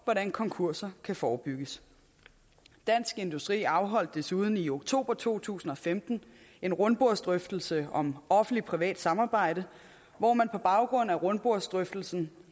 hvordan konkurser kan forebygges dansk industri afholdt desuden i oktober to tusind og femten en rundbordsdrøftelse om offentligt privat samarbejde hvor man på baggrund af rundbordsdrøftelsen